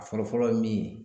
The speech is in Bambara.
A fɔlɔ fɔlɔ ye min ye